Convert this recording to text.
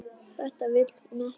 Þetta vill hún ekki.